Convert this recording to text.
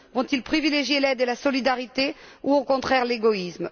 Vont ils privilégier l'aide et la solidarité ou, au contraire, l'égoïsme?